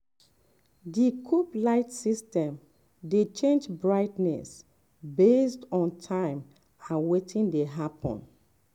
di coop light system dey change brightness based on time and wetin dey happen.